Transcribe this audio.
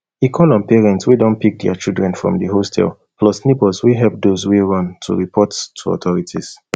e call on parents wey don pick dia children from di hostel plus neighbours wey help those wey run to report to authorities